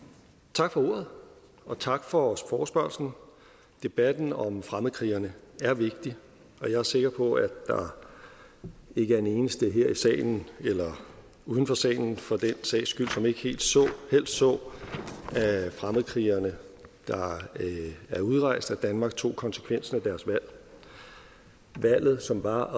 tak for ordet og tak for forespørgslen debatten om fremmedkrigerne er vigtig og jeg er sikker på at der ikke er en eneste her i salen eller uden for salen for den sags skyld som ikke helst så at fremmedkrigerne der er udrejst af danmark tog konsekvensen af deres valg valget som var